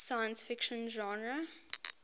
science fiction genre